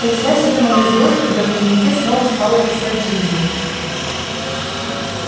представь себе мою злость когда в дневнике снова стала писать джинни